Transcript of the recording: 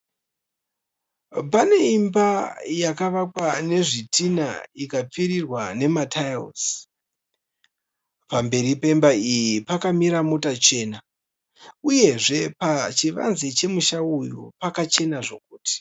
Pane imba yakavakwa nezvitinha ikapfirirwa nematairisi. Pamberi pemba iyi pakamira mota chena uyezve pachivanze chemusha uyu pakachena zvokuti.